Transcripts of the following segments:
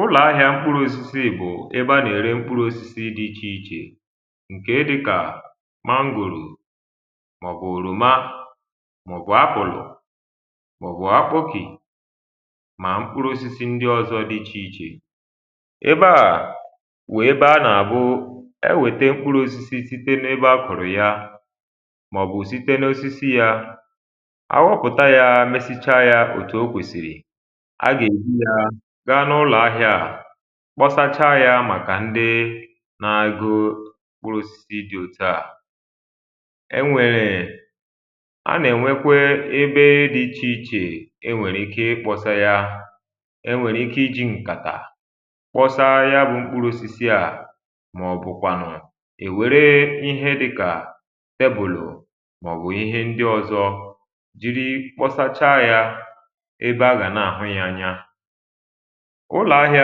ụ́lọ̀ ahịā mkpụrụ̄ osisi ìgbò, ebe a nà ère mkpụrụ̄ osisi dị ichè ichè, ǹkèe dịkà mangòlò, mà ọ̀ bụ̀ òròma, mà ọ̀ bụ̀ apple, mà ọ̀ bụ̀ akpọkị̀, mà ọ̀ bụ̀ mkpụrụ̄ osisi di ichè ichè. ebe à, wụ̀ ebe a nà àwụ ẹ wẹ̀tẹ mkpụrụ̄ osisi site n’ẹbẹ a kọ̀rọ̀ ya, mà ọ̀ bụ̀ site n’osisi ya. a wọpụ̀ta ya, sịcha yā òtù o kwèsị̀rị, a gà èbu yā ga n’ụlọ̀ ahịā, kpọsacha ya màkà ndị na a go osisi dị otu à. ẹ nwẹ̀rẹ̀, a nà ẹ̀nwẹkwa ẹbẹ nrī dị ichè ichè ẹ nwẹ̀rẹ̀ ike ị kpọ̄sa ya. ẹ nwẹ̀rẹ̀ ike I jī ǹkàtà, kpọsa ya bụ mkpụrụ̄ osisi à, mà ọ̀ bụ̀kwànụ, e wère ihe dịkà tẹbụ̀lụ̀, mà ọ̀ wụ ịhẹ ndị ọzọ, jìri kpọsacha yā ebe a gà nà àhụ yā anya. ụlọ̀ ahịā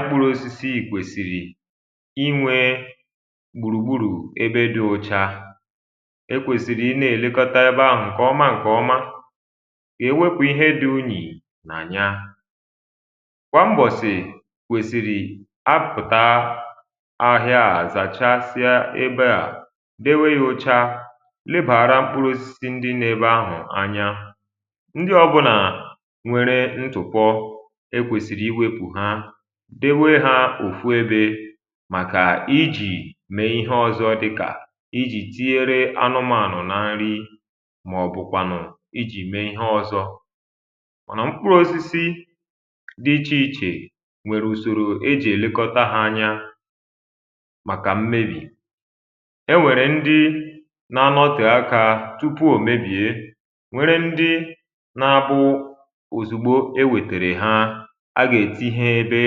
mkpụrụ̄ osisi kwèsìrì ị nwẹ̄ gbùrù gburù ebe dị ọ̀cha. e kwèsị̀rị ị nà èlekọta ebe ahụ̀ anya ǹkẹ̀ ọma ǹkẹ̀ ọma, kà ẹ wẹpụ̀ ịhẹ dị unyì nà ya. kwà mbọ̀sị̀ kwẹ̀sị̀rị a pụ̀ta ahịa à, a zàchasịa ebe à, dewe ya ọ̀cha, nebàra mkpụrụ̄ osisi ndị nọ ebe ahụ̀ anya. ndị ọbụnā nwere ntụ̀pọ, e kwèsị̀rị̀ ị wepụ̀ ha, dewe ha òfu ebē, màkà I jī me ihẹ ọzọ dịkà ị jì tinyere anụmànụ na nri, mà ọ̀ bụ̀ kwànụ ijì mẹ ihe ọzọ, mànà mkpụrụ̄ osisi dị ichè ichè nwẹ̀rẹ̀ ùsòrò e jì lekọta hā anya màkà mmebì. e nwèrè ndị na anọtè akā tupù ò mebìè, nwẹrẹ ndị na abụ òzùgbo e wètère ha, a gà ètinye ya ebe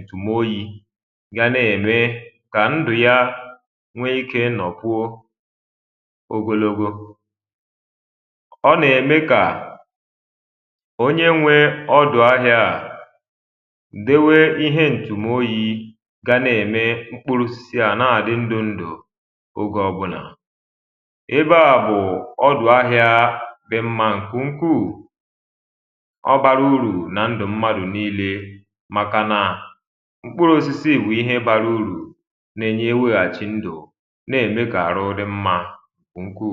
ǹtụ̀moyī, ga nà ẹ̀mẹ kà ndụ̀ ya nọ̀kwuo ogologo. ọ nà ème kà onye nwe ọdụ̀ aghā à dowe ihe ntùmoyī, ga nà ème mkpụrụ osisi à nà àdị ndụ̀ ndụ ogē ọbụlà. ebe à bụ̀ ọdụ̀ ahiā dị mmā ǹkè ukwù. ọ bara urù nan dụ̀ mmadù nillē, màkà nà mkpụrụ osisi bụ̀ ihe bara urù, na eme e weghàchị ndụ̀, nà ème kà àrụ dị mmā ǹkè ukwù.